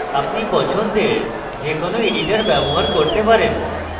আপনি পছন্দের যে কোনো editor ব্যবহার করতে পারেন